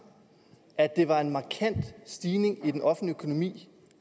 at det var en markant stigning i den offentlige økonomi